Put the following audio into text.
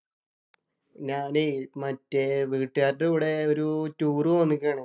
ഞാന് മറ്റേ വീട്ടുകാരുടെ കൂടെ ഒരു ടൂറ് പോകാൻ നിക്കുകാണ്.